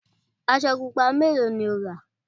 aṣọ pupa mélòó ni o rà?